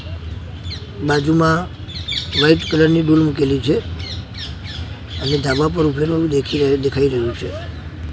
બાજુમાં white colour ની ડોલ મૂકેલી છે અને ઢાબા પર ઊભેલો દેખી ર દેખાય રહ્યુ છે.